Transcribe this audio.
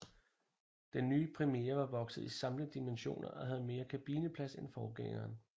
Den nye Primera var vokset i samtlige dimensioner og havde mere kabineplads end forgængeren